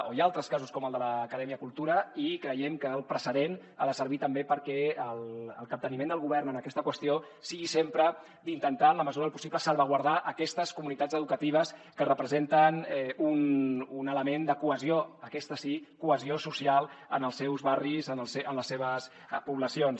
o hi ha altres casos com el de l’acadèmia cultura i creiem que el precedent ha de servir també perquè el capteniment del govern en aquesta qüestió sigui sempre d’intentar en la mesura del possible salvaguardar aquestes comunitats educatives que representen un element de cohesió aquesta sí social en els seus barris en les seves poblacions